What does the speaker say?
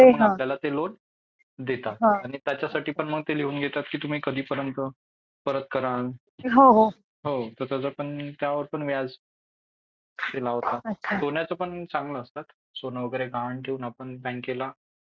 मग आपल्याला ते लोन देतात आणि त्याच्यासाठी पण ते लिहून घेतात की तुम्ही कधीपर्यंत परत करान त्यावर पण व्याज ते लावतात .सोन्याचा पण चांगला असता सोनं वगैरे गहाण ठेवून बँकेला आपण बँकेला